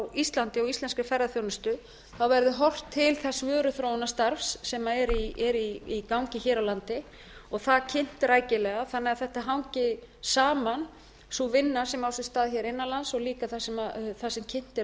á íslandi og íslenskri ferðaþjónustu verði horft til þess vöruþróunarstarfs sem er í gangi hér á landi og það kynnt rækilega þannig að þetta hangi saman sú vinna sem á sér stað hér innan lands og líka það sem kynnt er